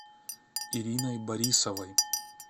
ириной борисовой